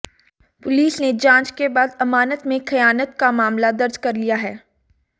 police ने जांच के बाद अमानत में खयानत का मामला दर्ज कर लिया है